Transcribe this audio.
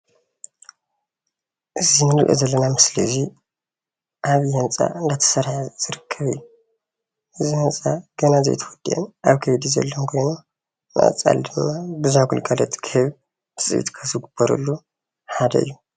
እዚ እንሪኦ ዘለና ምስሊ እዚ ኣብ ዓብይ ህንፃ እናተሰርሐ ዝርከብ እዩ፡፡ እዚ ህንፃ ገና ዘይተወድአ ኣብ ከይዲ ዘሎ ኮይኑ ንቀፃሊ ድማ ብዙሕ ግልጋሎት ክህብ ትፅቢት ካብ ዝግበረሎም ሓደ እዩ፡፡